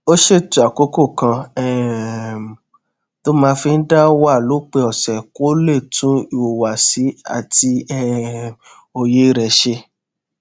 ó ṣètò àkókò kan um tó máa fi dá wà lópin òsè kó lè tún ìhùwàsí àti um òye rè ṣe